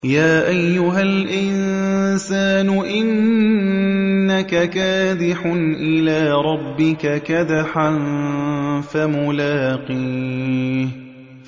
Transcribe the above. يَا أَيُّهَا الْإِنسَانُ إِنَّكَ كَادِحٌ إِلَىٰ رَبِّكَ كَدْحًا فَمُلَاقِيهِ